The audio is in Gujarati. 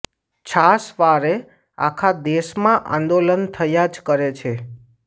છાશવારે આખા દેશમાં આંદોલન થયા જ કરે છે